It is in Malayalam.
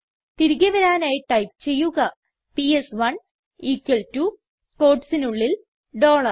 തിരികെ വരാനായി ടൈപ്പ് ചെയ്യുക പിഎസ്1 equal ടോ quotesനുള്ളിൽ ഡോളർ